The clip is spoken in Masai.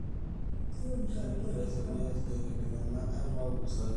karibu te sms te enkitengena e emau sikitoi